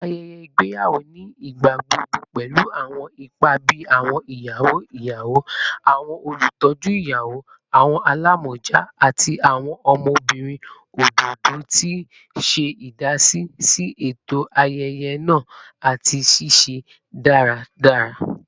Awọn ayẹyẹ igbeyawo ni igbagbogbo pẹlu awọn ipa bii awọn iyawo iyawo, awọn olutọju iyawo, awọn alamọja, ati awọn ọmọbirin ododo, ti n ṣe idasi si eto ayẹyẹ naa ati ṣiṣiṣẹ daradara.